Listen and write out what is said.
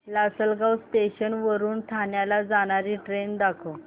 Lasalgaon station वरून ठाण्याला जाणारी ट्रेन दाखव